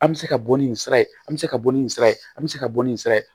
An bɛ se ka bɔ ni nin sira ye an bɛ se ka bɔ ni nin sira ye an bɛ se ka bɔ ni sira ye